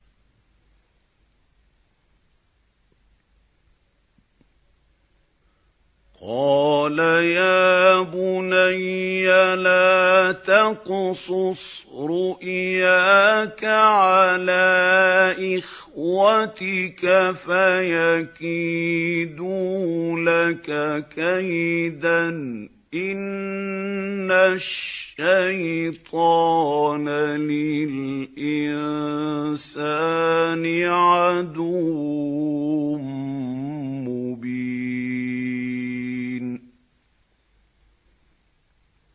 قَالَ يَا بُنَيَّ لَا تَقْصُصْ رُؤْيَاكَ عَلَىٰ إِخْوَتِكَ فَيَكِيدُوا لَكَ كَيْدًا ۖ إِنَّ الشَّيْطَانَ لِلْإِنسَانِ عَدُوٌّ مُّبِينٌ